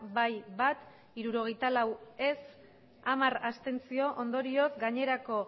bai bat ez hirurogeita lau abstentzioak hamar ondorioz gainerako